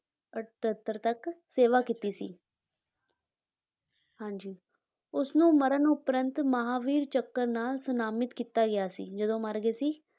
ਅਠੱਤਰ ਤੱਕ ਸੇਵਾ ਕੀਤੀ ਸੀ ਹਾਂਜੀ, ਉਸਨੂੰ ਮਰਨ ਉਪਰੰਤ ਮਹਾਂਵੀਰ ਚੱਕਰ ਨਾਲ ਸਨਮਾਨਿਤ ਕੀਤਾ ਗਿਆ ਸੀ ਜਦੋਂ ਮਰ ਗਏ ਸੀ,